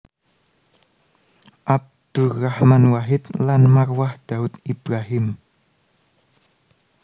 Abdurrahman Wahid lan Marwah Daud Ibrahim